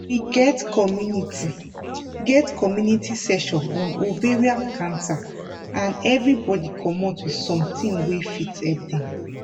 we get community get community session on ovarian cancer and everybody commot with something wey fit help dem